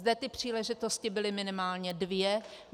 Zde ty příležitosti byly minimálně dvě.